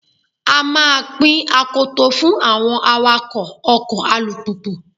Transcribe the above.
A máa pín akoto fún àwọn awakọ́ ọkọ̀ alùpùpù.